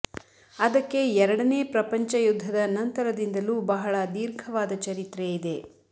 ಅದಕ್ಕೆ ಎರಡನೇ ಪ್ರಪಂಚ ಯುದ್ಧದ ನಂತರದಿಂದಲೂ ಬಹಳ ದೀರ್ಘವಾದ ಚರಿತ್ರೆ ಇದೆ